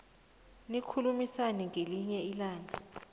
nikhulumisane ngelinye ilanga